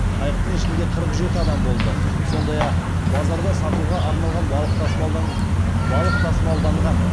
қайықтың ішінде қырық жеті адам болды сондай ақ базарда сатуға арналған балық тасымалданған